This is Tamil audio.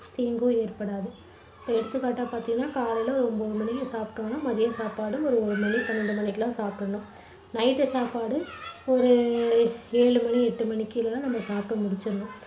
தீங்கும் ஏற்படாது. இப்போ எடுத்துக்காட்டா பார்த்தீங்கன்னா காலையில ஒரு ஒன்பது மணிக்கு சாப்பிட்டோம்னா பாத்தீங்கன்னா மதியம் சாப்பாடு ஒரு ஒரு மணி பன்னிரெண்டு மணிக்கெல்லாம் சாப்பிட்டுடணும். night சாப்பாடு ஒரு ஏழு மணி எட்டு மணிக்கெல்லாம் நம்ப சாப்பிட்டு முடிச்சுடணும்.